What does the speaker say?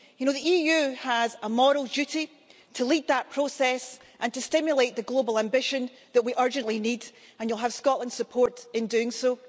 The EU has a moral duty to lead that process and to stimulate the global ambition that we urgently need, and you'll have Scotland's support in doing so.